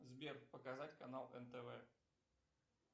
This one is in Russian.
сбер показать канал нтв